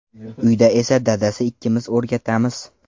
Uyda esa dadasi ikkimiz o‘rgatamiz.